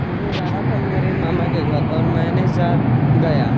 मुझे जाना था मेरे मामा के घर और मैंने जा गया--